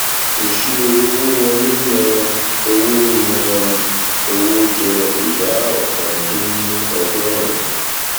ìṣirò owó wọlé yàn owó yàn owó jẹ ìdá ọkàn dín ní ọgọrùn-ún